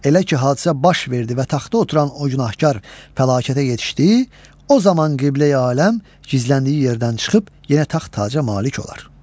Elə ki hadisə baş verdi və taxta oturan o günahkar fəlakətə yetişdi, o zaman Qibləyi aləm gizləndiyi yerdən çıxıb, yenə taxt-taca malik olar.